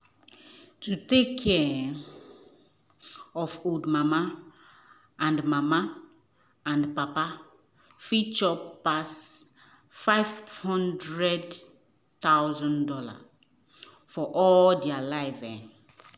to take care um of old mama and mama and papa fit chop pass fifty thousand dollars0 for all their um life.